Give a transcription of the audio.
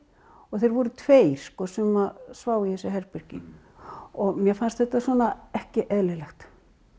og þeir voru tveir sem sváfu í þessu herbergi og mér fannst þetta ekki eðlilegt